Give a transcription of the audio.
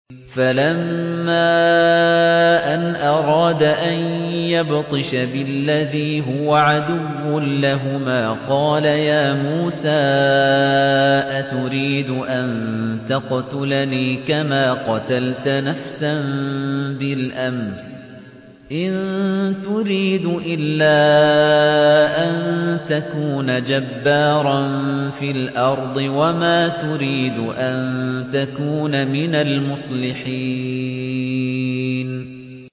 فَلَمَّا أَنْ أَرَادَ أَن يَبْطِشَ بِالَّذِي هُوَ عَدُوٌّ لَّهُمَا قَالَ يَا مُوسَىٰ أَتُرِيدُ أَن تَقْتُلَنِي كَمَا قَتَلْتَ نَفْسًا بِالْأَمْسِ ۖ إِن تُرِيدُ إِلَّا أَن تَكُونَ جَبَّارًا فِي الْأَرْضِ وَمَا تُرِيدُ أَن تَكُونَ مِنَ الْمُصْلِحِينَ